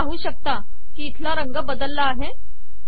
तुम्ही पाहू शकता की येथील रंग बदलला आहे